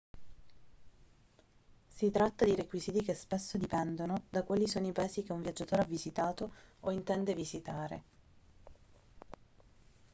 si tratta di requisiti che spesso dipendono da quali sono i paesi che un viaggiatore ha visitato o intende visitare